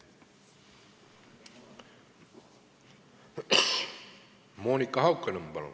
Monika Haukanõmm, palun!